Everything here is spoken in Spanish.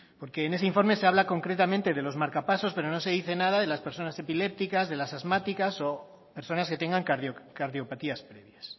porque en ese informe se habla concretamente de los marcapasos pero no se dice nada de las personas epilépticas de las asmáticas o personas que tengan cardiopatías previas